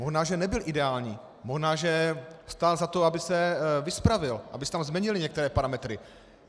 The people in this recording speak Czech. Možná že nebyl ideální, možná že stál za to, aby se vyspravil, aby se tam změnily některé parametry.